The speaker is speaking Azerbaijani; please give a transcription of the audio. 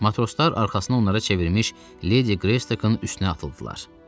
Matroslar arxasına onlara çevrilmiş Ledi Greystoke'un üstünə atıldılar.